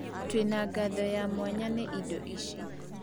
Tũrĩ na thogora wa mwanya wa indo ici.